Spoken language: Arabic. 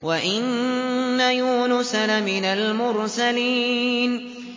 وَإِنَّ يُونُسَ لَمِنَ الْمُرْسَلِينَ